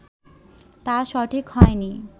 তা সঠিক হয়নি